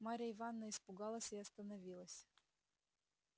марья ивановна испугалась и остановилась